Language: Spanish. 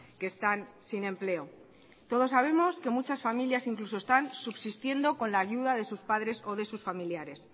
que están sin empleo todos sabemos que muchas familias incluso están subsistiendo con la ayuda de sus padres o de sus familiares